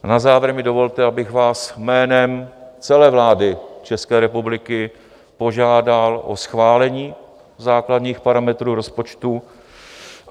Na závěr mi dovolte, abych vás jménem celé vlády České republiky požádal o schválení základních parametrů rozpočtu.